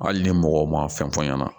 Hali ni mɔgɔ ma fɛn fɔ n ɲɛna